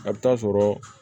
A bɛ taa sɔrɔ